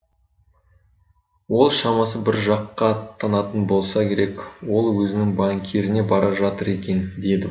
ол шамасы бір жаққа аттанатын болса керек ол өзінің банкиріне бара жатыр екен деді